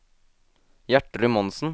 Gjertrud Monsen